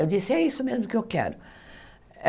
Eu disse, é isso mesmo que eu quero.